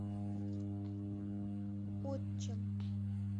отчим